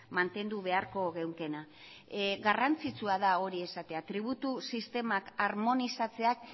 mantendu beharko genukeena garrantzitsua da hori esatea tributu sistemak armonizatzeak